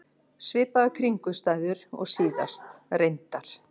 Svipaðar kringumstæður og síðast, reyndar.